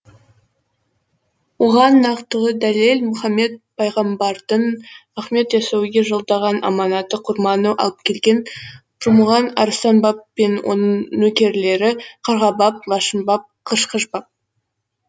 оған нақтылы дәлел мұхаммед пайғамбардың ахмет ясауиге жолдаған аманаты құрманы алып келген пірмұған арыстан баб пен оның нөкерлері қарға баб лашын баб қышқыш баб